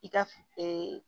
I ka